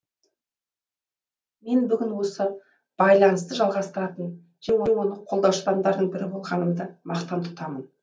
мен бүгін осы байланысты жалғастыратын және оны қолдаушы адамдардың бірі болғанымды мақтан тұтамын